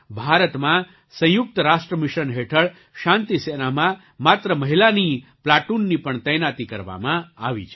ભારતમાં સંયુક્ત રાષ્ટ્ર મિશન હેઠળ શાંતિસેનામાં માત્ર મહિલાની પ્લાટૂનની પણ તૈનાતી કરવામાં આવી છે